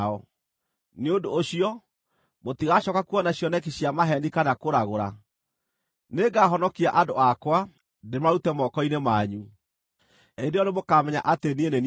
nĩ ũndũ ũcio, mũtigacooka kuona cioneki cia maheeni kana kũragũra. Nĩngahonokia andũ akwa, ndĩmarute moko-inĩ manyu. Hĩndĩ ĩyo nĩmũkamenya atĩ niĩ nĩ niĩ Jehova.’ ”